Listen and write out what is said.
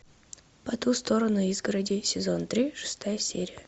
по ту сторону изгороди сезон три шестая серия